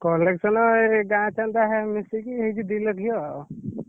Collection ଏଇ ଗାଁ ଚାନ୍ଦା ମିଶେଇକି ହେଇଛି ଦି ଲକ୍ଷ ଆଉ।